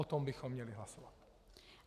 O tom bychom měli hlasovat.